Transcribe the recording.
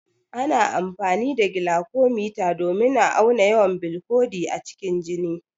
Ana amfani da glucometer domin a auna yawan bilcodi a cikin jini.